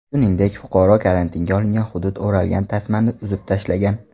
Shuningdek, fuqaro karantinga olingan hudud o‘ralgan tasmani uzib tashlagan.